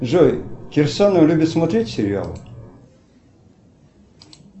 джой кирсанов любит смотреть сериал